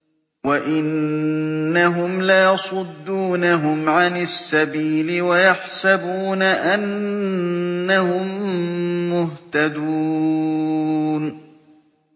وَإِنَّهُمْ لَيَصُدُّونَهُمْ عَنِ السَّبِيلِ وَيَحْسَبُونَ أَنَّهُم مُّهْتَدُونَ